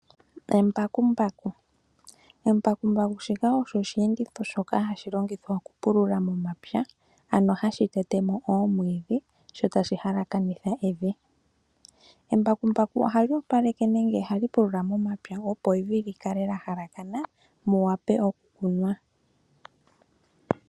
Embakumbaku, embakumbaku shika osho osheenditho shoka hashi longithwa okupulula momapya ,ano hashi tetemo oomwiidhi sho tashi halakanitha evi . Embakumbaku ohali opoleke nenge ohali pulula momapya opo evi likale lya halakana muwape okukunwa.